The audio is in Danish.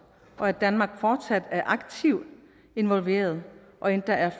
og at danmark fortsat er aktivt involveret og endda er